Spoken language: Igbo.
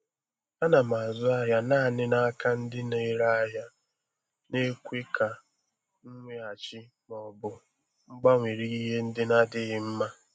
A na m azụ ahịa naanị n'aka ndị na-ere ahịa na-ekwe ka nweghachi ma ọ bụ gbanwere ihe ndị na-adịghị mma.